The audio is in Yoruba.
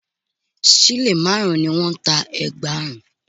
Sílè márùn-ún ni wọ́n ń ta ẹ̀gbà ọrùn